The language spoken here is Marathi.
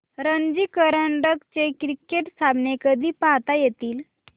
रणजी करंडक चे क्रिकेट सामने कधी पाहता येतील